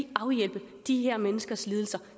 afhjælpe de her menneskers lidelser